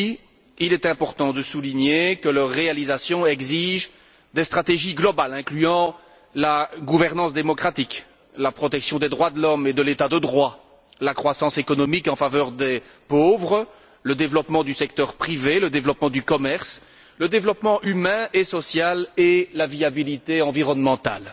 Aussi, il est important de souligner que leur réalisation exige des stratégies globales incluant la gouvernance démocratique, la protection des droits de l'homme et de l'état de droit, la croissance économique en faveur des pauvres, le développement du secteur privé, le développement du commerce, le développement humain et social, et la viabilité environnementale.